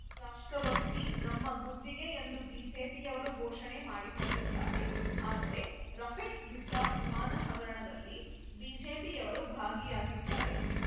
ರಾಷ್ಟ್ರಭಕ್ತಿ ನಮ್ಮ ಗುತ್ತಿಗೆ ಎಂದು ಬಿಜೆಪಿಯವರು ಘೋಷಣೆ ಮಾಡಿಕೊಂಡಿದ್ದಾರೆ ಆದರೆ ರಫೆಲ್‌ ಯುದ್ಧ ವಿಮಾನ ಹಗರಣದಲ್ಲಿ ಬಿಜೆಪಿಯವರು ಭಾಗಿಯಾಗಿದ್ದಾರೆ